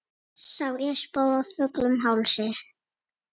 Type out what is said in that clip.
og barnið réttir út arma